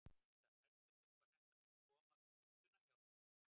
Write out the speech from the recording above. Linda: Heldur þú að þetta muni koma við budduna hjá þér?